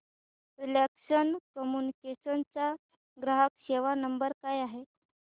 Reliance Communications चा ग्राहक सेवा नंबर काय आहे